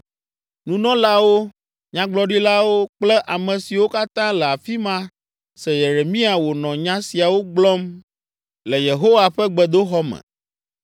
Nunɔlawo, nyagblɔɖilawo kple ame siwo katã le afi ma se Yeremia wònɔ nya siawo gblɔm le Yehowa ƒe gbedoxɔ me.